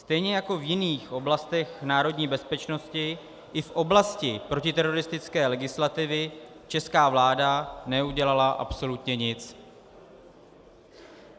Stejně jako v jiných oblastech národní bezpečnosti, i v oblasti protiteroristické legislativy česká vláda neudělala absolutně nic.